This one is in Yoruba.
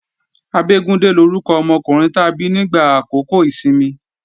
Abégúndé lórúkọ ọmọkùnrin ta bí nígbà àkókò ìsinmi